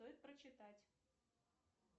стоит прочитать